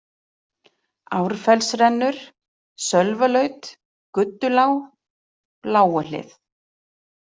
Árfellsrennur, Sölvalaut, Guddulág, Lágahlið